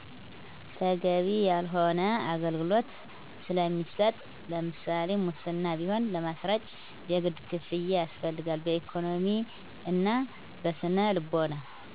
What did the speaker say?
ተገቢ ያልሆነ አገልግሎት ስለሚሰጥ ለምሳሌ ሙስና ቢሆን ለማስረጭ የግድ ክፍያ ያስፈልጋል በኢኮኖሚ እና በስነ ልቦና